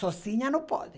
Sozinha não pode.